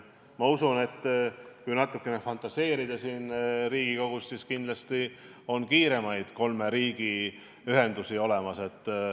Ma usun, et kui siin Riigikogus natuke fantaseerida, siis kindlasti leiaksime kiiremaid kolme riigi ühendusi.